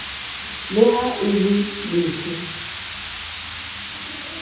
le ha e le lefe